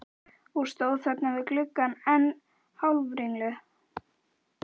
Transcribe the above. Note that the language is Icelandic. Og stóð þarna við gluggann enn hálfringluð.